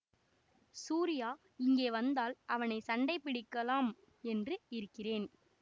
சூரியா இங்கே வந்தால் அவனை சண்டை பிடிக்கலாம் என்று இருக்கிறேன்